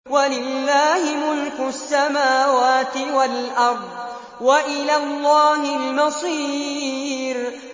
وَلِلَّهِ مُلْكُ السَّمَاوَاتِ وَالْأَرْضِ ۖ وَإِلَى اللَّهِ الْمَصِيرُ